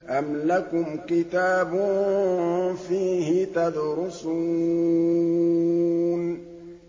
أَمْ لَكُمْ كِتَابٌ فِيهِ تَدْرُسُونَ